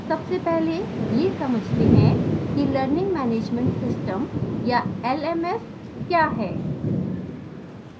सबसे पहले यह समझते हैं कि learning management system या lms क्या है